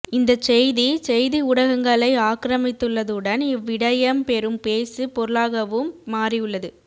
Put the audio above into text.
இந்தச் செய்தி செய்தி ஊடகங்களை ஆக்கிரமித்துள்ளதுடன் இவ் விடயம் பெரும் பேசு பொருளாகவும் மாறியுள்ளது